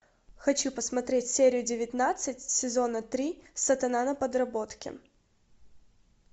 хочу посмотреть серию девятнадцать сезона три сатана на подработке